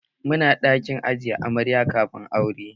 Muna ɗakin ajiye amarya kafin aure